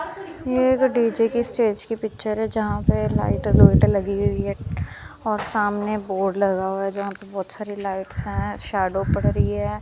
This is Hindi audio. ये एक डी जे के स्टेज की पिक्चर है जहां पे लाइटें लोइटें लगी हुई है और सामने बोर्ड लगा हुआ है जहां पे बहुत सारी लाइट्स हैं शैडो पड़ रही है।